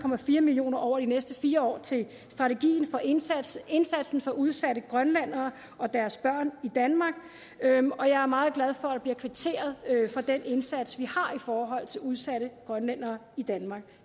million kroner over de næste fire år til strategien for indsatsen indsatsen for udsatte grønlændere og deres børn i danmark og jeg er meget glad for at der bliver kvitteret for den indsats vi har i forhold til udsatte grønlændere i danmark